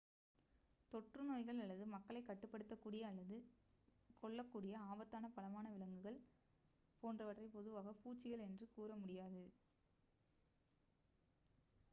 தொற்று நோய்கள் அல்லது மக்களை காயப்படுத்தக்கூடிய அல்லது கொள்ளக்கூடிய ஆபத்தான பலமான விலங்குகள் போன்றவற்றை பொதுவாக பூச்சிகள் என்று கூற முடியாது